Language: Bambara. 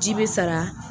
Ji bɛ sara